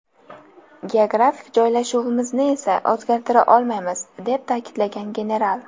Geografik joylashuvimizni esa o‘zgartira olmaymiz”, deb ta’kidlagan general.